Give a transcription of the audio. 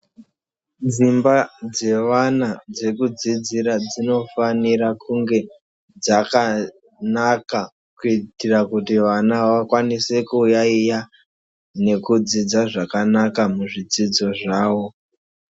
Dzimba dzevana dzekudzidzira dzinofanira kunge dzakanaka kuitira kuti vana vakwanise kuyaiya nekudzidza zvakanaka muzvidzidzo zvawo.